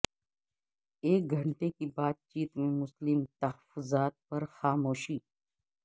ایک گھنٹے کی بات چیت میں مسلم تحفظات پر خاموشی